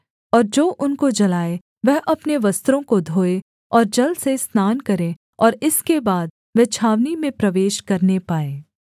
और जो उनको जलाए वह अपने वस्त्रों को धोए और जल से स्नान करे और इसके बाद वह छावनी में प्रवेश करने पाए